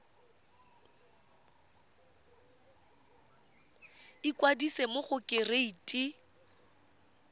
ikwadisa mo go kereite r